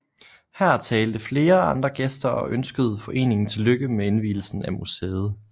Her talte flere andre gæster og ønskede foreningen tillykke med indvielsen af museet